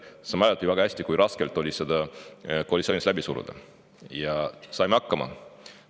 Sa mäletad ju väga hästi, kui raske oli seda koalitsioonis läbi suruda, aga saime hakkama.